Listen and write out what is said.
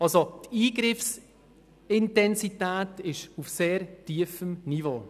Die Eingriffsintensität ist also auf sehr tiefem Niveau.